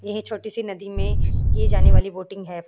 यह छोटी सी नदी में की जाने वाली बोटिंग है।